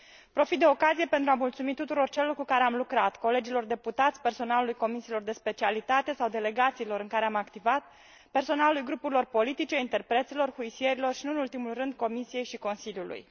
Profit de ocazie pentru a mulțumi tuturor celor cu care am lucrat colegilor deputați, personalului comisiilor de specialitate sau delegațiilor în care am activat, personalului grupurilor politice, interpreților, aprozilor și, nu în ultimul rând, Comisiei și Consiliului.